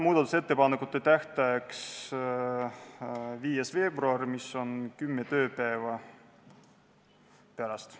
Muudatusettepanekute esitamise tähtajaks on 5. veebruar, mis on kümne tööpäeva pärast.